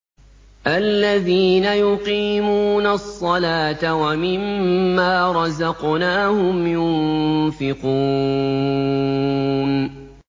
الَّذِينَ يُقِيمُونَ الصَّلَاةَ وَمِمَّا رَزَقْنَاهُمْ يُنفِقُونَ